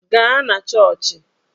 Gaa na chọọchị!